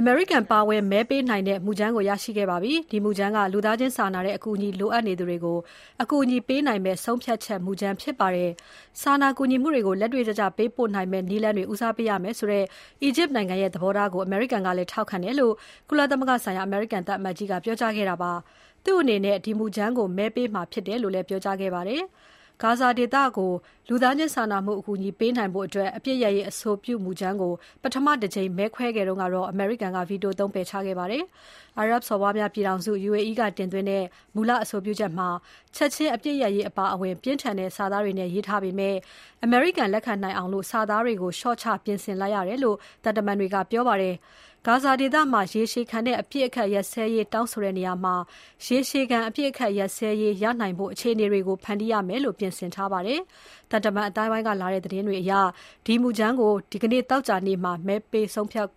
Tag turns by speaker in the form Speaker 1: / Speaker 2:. Speaker 1: အမေရိကန် ပါဝင်မဲပေးနိုင်တဲ့ မူကြမ်းကို ရရှိခဲ့ပါပြီ။ ဒီမူကြမ်းက လူသားချင်းစာနာတဲ့အကူအညီ လိုအပ်နေသူတွေကို အကူအညီပေးနိုင်မယ့် ဆုံးဖြတ်ချက်မူကြမ်းဖြစ်ပါတယ်။ စာနာကူညီမှုတွေကို လက်တွေ့ကျကျပေးပို့နိုင်မယ့် နည်းလမ်းတွေ ဦးစားပေးရမယ်ဆိုတဲ့ အီဂျစ်နိုင်ငံရဲ့သဘောထားကို အမေရိကန်ကလည်း ထောက်ခံတယ်" လို့ ကုလသမဂ္ဂဆိုင်ရာ အမေရိကန်သံအမတ်ကြီးကပြောကြားခဲ့တာဖြစ်ပါတယ်။ သူ့အနေနဲ့ ဒီမူကြမ်းကို မဲပေးမှာဖြစ်တယ်လို့လည်း ပြောကြားခဲ့ပါတယ်။ ဂါဇာဒေသကို လူသားချင်းစာနာမှုအကူအညီပေးနိုင်ဖို့ အပစ်ရပ်ရေးအဆိုပြုမူကြမ်းကို ပထမတကြိမ်မဲခွဲတုန်းက အမေရိကန်က ဗီတိုသုံး ပယ်ချခဲ့တာပါ။ အာရပ်စော်ဘွားများပြည်ထောင်စု UAE ကတင်သွင်းတဲ့ မူလအဆိုပြုချက်မှာ ချက်ချင်းအပစ်ရပ်ရေးအပါအဝင် ပြင်းထန်တဲ့စာသားတွေနဲ့ ရေးထားပေမဲ့ အမေရိကန်လက်ခံနိုင်အောင် စာသားတွေကိုလျှော့ချပြင်ဆင်လိုက်တယ်လို့ သံတမန်တွေက ပြောပါတယ်။ ဂါဇာဒေသမှာ ရေရှည်ခံတဲ့ အပစ်အခတ်ရပ်စဲရေးတောင်းဆိုတဲ့နေရာမှာ ရေရှည်ခံ အပစ်အခတ်ရပ်စဲရေးအခြေအနေတွေ ဖန်တီးရမယ်လို့ ပြင်ဆင်ထားပါတယ်။ သံတမန်အသိုင်းအဝိုင်းကလာတဲ့သတင်းတွေအရ မူကြမ်းကို ဒီနေ့ သောကြာနေ့မှာ မဲခွဲဆုံးဖြတ်